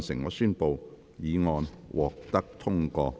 我宣布議案獲得通過。